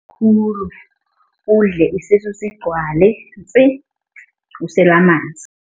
Khulu, udle isisu sigcwale ntsi. Usela amanzi.